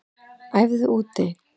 Æfðu úti